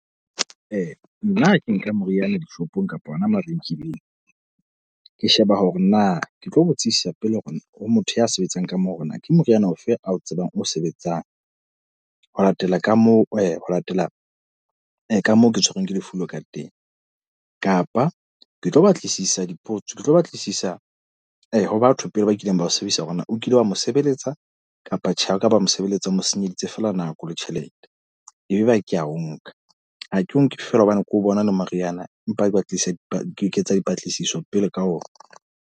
Nna ha ke nka moriana dishopong kapa hona mabenkeleng. Ke sheba hore na ke tlo botsisisa pele hore ho motho ya sebetsang ka moo hore na ke moriana ofe a o tsebang o sebetsang ho latela ka moo ho latela ka moo ke tshwerweng ke lefu leo ka teng. Kapa ke tlo batlisisa dipotso ke tlo batlisisa ho batho pele ba kileng ba o sebedisa hore na o kile wa mo sebeletsa kapa tjhe? Ha okaba mo sebeletsa, o mo senyeditse feela nako le tjhelete. E be ba ke a o nka ha ke o nke fela hobane ke bona e le moriana. Empa ba tlisa ke etsa dipatlisiso pele ka ona.